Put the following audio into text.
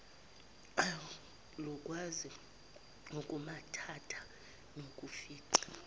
alukwazi ukumumatha nokufica